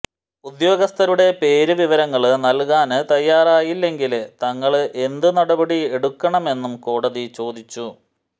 ഉദ്യോഗസ്ഥരുടെ പേര് വിവരങ്ങള് നല്കാന് തയ്യാറായില്ലെങ്കില് തങ്ങള് എന്ത് നടപടി എടുക്കണമെന്നും കോടതി ചോദിച്ചു